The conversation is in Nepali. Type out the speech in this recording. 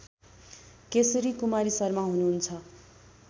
केशरी कुमारी शर्मा हुनुहुन्छ